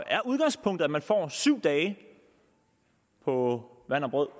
er udgangspunktet at man får syv dage på vand og brød